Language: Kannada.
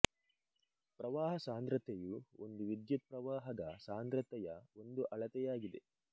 ಪ್ರವಾಹ ಸಾಂದ್ರತೆಯು ಒಂದು ವಿದ್ಯುತ್ ಪ್ರವಾಹದ ಸಾಂದ್ರತೆಯ ಒಂದು ಅಳತೆಯಾಗಿದೆ